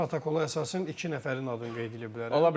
protokola əsasən iki nəfərin adını qeyd eləyib.